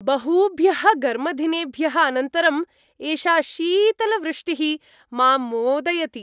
बहूभ्यः घर्मदिनेभ्यः अनन्तरं, एषा शीतलवृष्टिः माम् मोदयति।